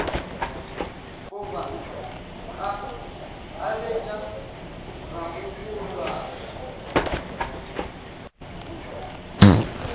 go ba a abetše ramogolwagwe